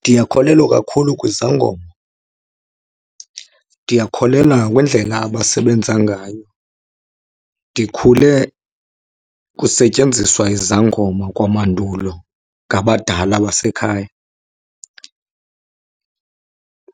Ndiyakholelwa kakhulu kwizangoma, ndiyakholelwa nakwindlela abasebenza ngayo. Ndikhule kusetyenziswa izangoma kwamandulo ngabadala basekhaya.